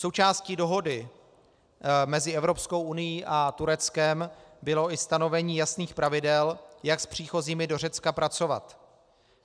Součástí dohody mezi Evropskou unií a Tureckem bylo i stanovení jasných pravidel, jak s příchozími do Řecka pracovat.